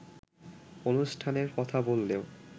অনুষ্ঠানের কথা বললেও